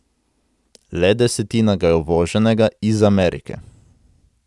Le desetina ga je uvoženega, iz Amerike.